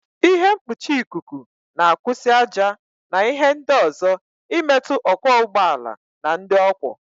Ịhe mkpuchi ikuku na-akwụsị ájá na ịhe ndị ọzọ imetụ ọkwọ ụgbọala na ndị ọ kwọ.